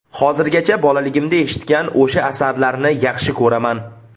Hozirgacha bolaligimda eshitgan o‘sha asarlarni yaxshi ko‘raman.